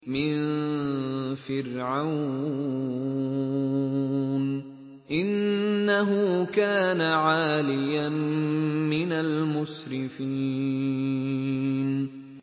مِن فِرْعَوْنَ ۚ إِنَّهُ كَانَ عَالِيًا مِّنَ الْمُسْرِفِينَ